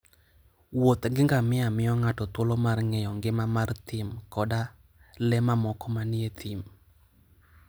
Wuoth gi ngamia miyo ng'ato thuolo mar ng'eyo ngima mar thim koda le mamoko manie thim.